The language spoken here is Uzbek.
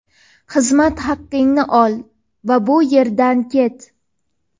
Xizmat haqingni ol va bu yerdan ket.